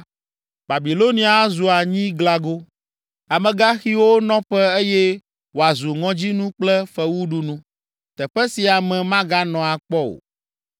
Babilonia azu anyiglago, amegãxiwo nɔƒe eye wòazu ŋɔdzinu kple fewuɖunu, teƒe si ame maganɔ akpɔ o.